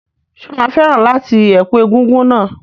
Ṣé o máa fẹ́ràn láti ẹ̀kú egúngún náà?